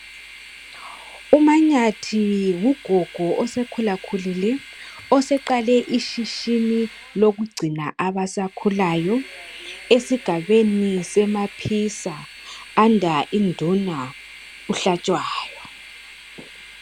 U MaNyathi ngu gogo ose khulakhulile osaqale i shishini lokugcina abasakhulayo esigabeni se Maphisa under induna u Hlatshwayo